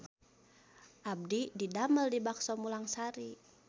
Abdi didamel di Bakso Mulang Sari